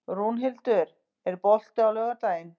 Rúnhildur, er bolti á laugardaginn?